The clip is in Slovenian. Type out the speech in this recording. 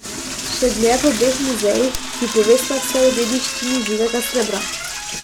Še dlje v obeh muzejih, ki povesta vse o dediščini živega srebra.